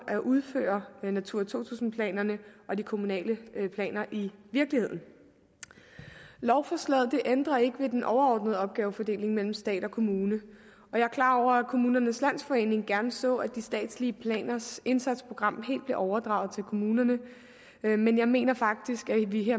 at udføre natura to tusind planerne og de kommunale planer i virkeligheden lovforslaget ændrer ikke ved den overordnede opgavefordeling mellem stat og kommune jeg er klar over at kommunernes landsforening gerne så at de statslige planers indsatsprogram helt blev overdraget til kommunerne men jeg mener faktisk at vi